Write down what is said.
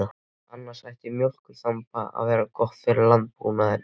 Annars ætti mjólkurþamb að vera gott fyrir landbúnaðinn.